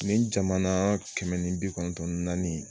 Nin jamana kɛmɛ ni bi kɔnɔntɔn ni naani in